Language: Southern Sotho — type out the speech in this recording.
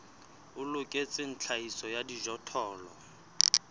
o loketseng tlhahiso ya dijothollo